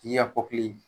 K'i ka kɔkili